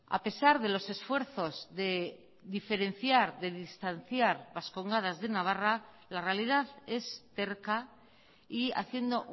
a pesar de los esfuerzos de diferenciar de distanciar vascongadas de navarra la realidad es terca y haciendo